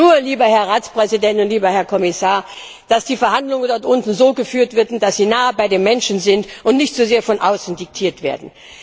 Ich wünsche nur, lieber Herr Ratspräsident und lieber Herr Kommissar, dass die Verhandlungen dort unten so geführt werden, dass sie nah bei den Menschen erfolgen und nicht zu sehr von außen diktiert werden.